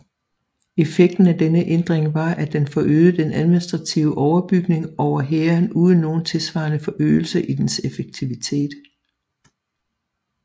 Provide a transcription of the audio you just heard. Effekten af denne ændring var at den forøgede den administrative overbygning over hæren uden nogen tilsvarende forøgelse i dens effektivitet